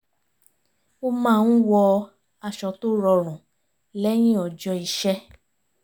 ó máa ń wọ aṣọ tó rọrùn lẹ́yìn ọjọ́ iṣẹ́